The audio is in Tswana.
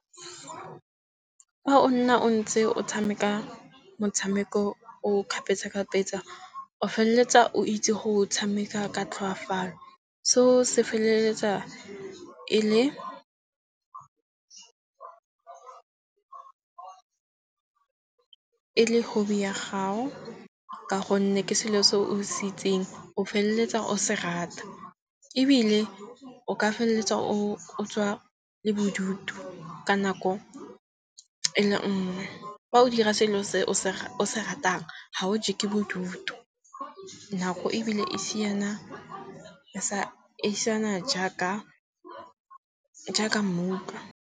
Fa o nna o ntse o tshameka motshameko o kgapetsa kgapetsa o feleletsa o itse go tshameka ka tlhoafalo. Seo se feleletsa e le e le hobby ya gao. Ka gonne ke selo se o se itseng o feleletsa o se rata. Ebile o ka feleletsa o tswa le bodutu ka nako e le nngwe. Fa o dira selo se o se ratang ha o je ke bodutu. Nako ebile e siana e siana jaaka mmutlwa.